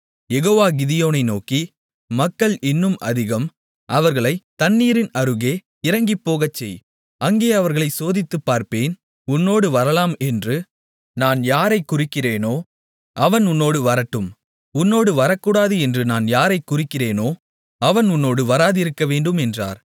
யெகோவா கிதியோனை நோக்கி மக்கள் இன்னும் அதிகம் அவர்களைத் தண்ணீரின் அருகே இறங்கிப்போகச்செய் அங்கே அவர்களை சோதித்துப் பார்ப்பேன் உன்னோடு வரலாம் என்று நான் யாரைக் குறிக்கிறேனோ அவன் உன்னோடு வரட்டும் உன்னோடு வரக்கூடாது என்று நான் யாரைக் குறிக்கிறேனோ அவன் உன்னோடு வராதிருக்கவேண்டும் என்றார்